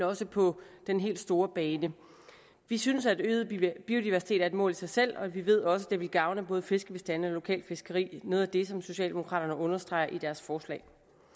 også på den helt store bane vi synes at øget biodiversitet er et mål i sig selv og vi ved også at det vil gavne både fiskebestande og lokalt fiskeri noget af det som socialdemokraterne understreger i deres forslag